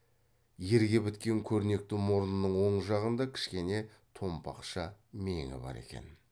ерге біткен көрнекті мұрнының оң жағында кішкене томпақша меңі бар екен